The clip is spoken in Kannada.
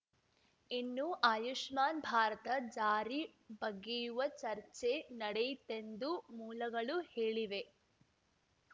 ಇನ್ನು ಆಯುಷ್ಮಾನ್‌ ಭಾರತ ಜಾರಿ ಬಗ್ಗೆಯೂ ಚರ್ಚೆ ನಡೆಯಿತೆಂದು ಮೂಲಗಳು ಹೇಳಿವೆ